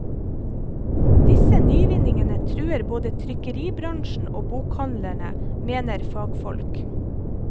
Disse nyvinningene truer både trykkeribransjen og bokhandlerne, mener fagfolk.